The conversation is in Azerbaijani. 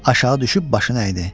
Aşağı düşüb başını əydi.